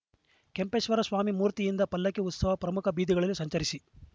ಕೆಂಪೇಶ್ವರ ಸ್ವಾಮಿ ಮೂರ್ತಿಯೊಂದಿ ಪಲ್ಲಕ್ಕಿ ಉತ್ಸವ ಪ್ರಮುಖ ಬೀದಿಗಳಲ್ಲಿ ಸಂಚರಿಸಿ